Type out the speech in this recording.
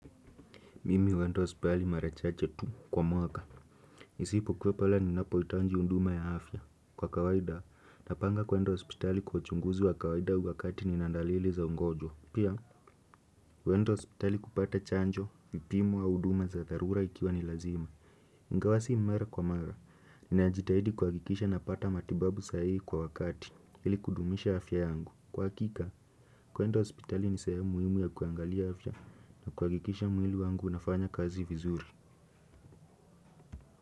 Mimi uenda hospitali marachache tu kwa mwaka. Isipo kuwapale ni napo itanji unduma ya afya. Kwa kawaida, napanga kuenda hospitali kwa uchunguzi wa kawaida uwakati ni nandalili za ungojwa. Pia, uenda hospitali kupata chanjo, vipimu au uduma za tharura ikiwa ni lazima. Ingawa si mara kwa mara, ninajitahidi kwa kikisha napata matibabu sahihi kwa wakati, ili kudumisha afya yangu. Kwa hakika, kuendo hospitali ni sehemu muhimu ya kuangalia afya na kuwakikisha mwili wangu unafanya kazi vizuri.